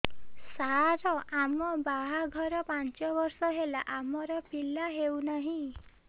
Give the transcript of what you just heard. ସାର ଆମ ବାହା ଘର ପାଞ୍ଚ ବର୍ଷ ହେଲା ଆମର ପିଲା ହେଉନାହିଁ